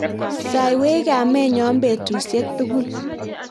saiwech kametnyo betusiek tugul